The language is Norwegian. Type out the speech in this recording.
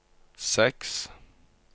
seks